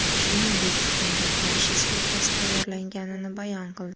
Shuningdek, unga qarshi suiqasd tayyorlanganini bayon qildi.